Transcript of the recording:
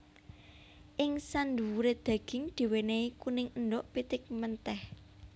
Ing sandhuwure daging diwenehi kuning endhog pitik menteh